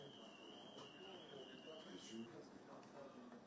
Məsəl üçün, əsas, əsas, əsas odur ki, sənin birincin.